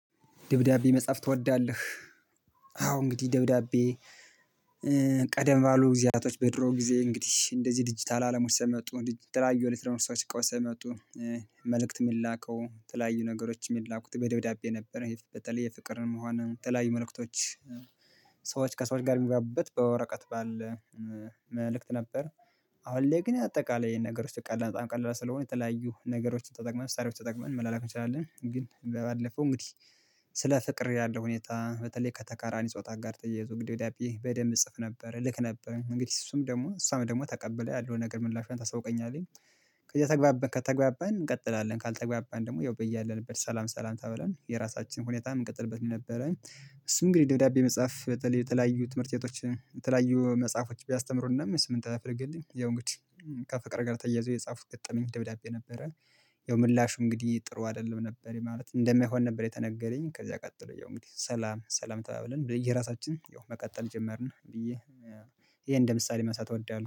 ደብዳቤ መጽሐፍ ትወዳለህ? አዎ እንግዲህ ደብዳቤ ቀደም ባሉ ጊዜያቶች በድሮ ጊዜ እንግዲህ እንደዚህ ዲጂታል አለም ውስጥ መጡ የተለያዩ ኤሌክትሮኒክሶች እቃዎች መጡ። መልእክት የሚላከው ተለያዩ ነገሮች የሚላኩት በደብዳቤ ነበረ ህይወት በተለየ ፍቅርን መሆን ተለያዩ መልእክቶች ሰዎች ከሰዎች ጋር የሚግባቡበት በወረቀት ባለ መልእክት ነበር። አሁን ላይ ግን አጠቃላይ ይሄን ነገር ውስጥ ቀላል በጣም ቀላል ስለሆነ የተለያዩ ነገሮችን ተጠቅመን መሳሪያዎች ተጠቅመን መላላክ እንችላለን። ግን በባለፈው እንግዲህ ስለ ፍቅር ያለው ሁኔታ በተለይ ከተቀራኒ ጾታ ጋር ተያይዞ እንግዲህ ደብዳቤ በደንብ እጽፍ ነበር እልክ ነበር። እንግዲህ እሱም ደግሞ እሷም ደግሞ ተቀብላ ያለውን ነገር ምላሿን ታስታውቀኛለይ። ከዛ ከተግባባን ከተግባባን እንቀጥላለን ካልተግባባን ደግሞ ያው በያለንበት ሰላም ሰላም ተባብለን የራሳችን ሁኔታ የምንቀጥልበት ነበረ። እሱም እንግዲህ ደብዳቤ መጽሐፍ በተለይ የተለያዩ ትምህርት ቤቶች የተለያዩ መጽሐፎች ቢያስተምሩንም ስምንተኛ ክፍል ግን ያው እንግዲህ ከፍቅር ጋር ተያይዞ የጻፉ ገጠመኝ ደብዳቤ ነበረ። ያው ምላሹ እንግዲህ ጥሩ አይደለም ነበር ማለት እንደሚሆን ነበር። የተነገረኝ ከዛ ቀጥሎ የሆነ እንግዲህ ሰላም ሰላም ተባብለን በየራሳችን ያው መቀጠል ጀመርን ብዬ ይሄ እንደ ምሳሌ ማንሳት እወዳለሁ